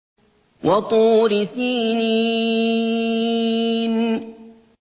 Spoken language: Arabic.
وَطُورِ سِينِينَ